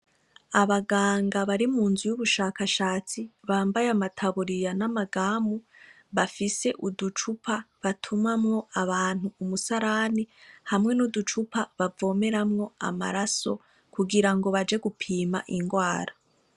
Abaganga bari mu nzu y'ubushakashatsi bambaye amataburiya n'amagamu bafise uducupa batumamwo abantu umusarani hamwe n'uducupa bavomeramwo amaraso kugira ngo baje gupima ingwara.